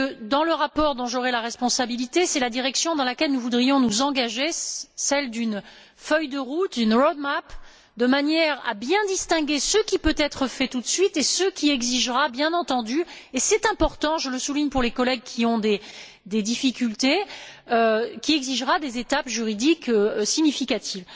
Dans le rapport dont j'aurai la responsabilité, c'est la direction dans laquelle nous voudrions nous engager, celle d'une feuille de route, de manière à bien distinguer ce qui peut être fait tout de suite et ce qui exigera, bien entendu et c'est important, je le souligne pour les collègues qui ont des difficultés des étapes juridiques significatives.